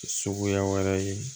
Suguya wɛrɛ ye